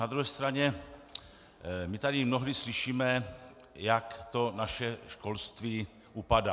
Na druhé straně, my tady mnohdy slyšíme, jak to naše školství upadá.